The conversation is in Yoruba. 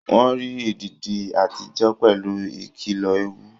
Wọ́n rí èdìdí àtijọ́ pẹ̀lú ìkìlọ̀ èèwọ̀